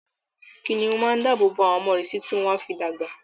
kìnìún máa n dábò bo àwọn ọmọ rè títi tí wọ́n á fi dàgbà.